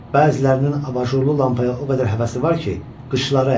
Bəzilərinin abajurlu lampaya o qədər həvəsi var ki, qışları əyilib.